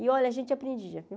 E, olha, a gente aprendia, viu?